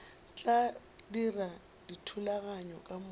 tla dira dithulaganyo ka moka